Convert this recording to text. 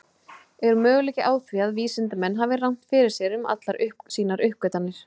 Er möguleiki á því að vísindamenn hafi rangt fyrir sér um allar sínar uppgötvanir?